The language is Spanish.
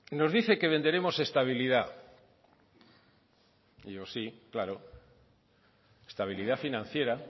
nos dice que venderemos estabilidad y yo sí claro estabilidad financiera